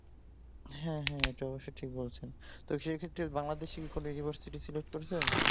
হ্যাঁ হ্যাঁ ওটা অবশ্য ঠিক বলছেন তো সে ক্ষেত্রে বাংলাদেশে কি কোন ইউনিভার্সিটি সিলেক্ট করেছেন